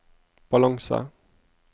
balanse